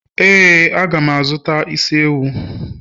éè, a ga m azụta isi ewu.